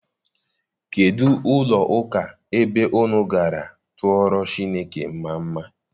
Kedụ ụlọ ụka ebe unu gara tụọrọ Chineke mmamma?